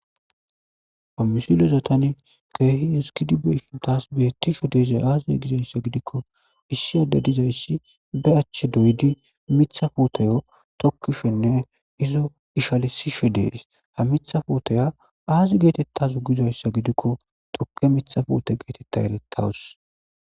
fammisilezatani keehi hesgidi be ishuntas bettisho deezay aaziye gizayssa gidikko issi adde dizayssi de achche doydi mitha puotayo tokkishenne izo ishalisisho dees ha mitha pootaya aazi geetettazu gizayssa gidikko tokke mitha foote geetetta elettawus